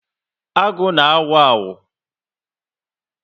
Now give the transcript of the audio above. Agụ na awu awu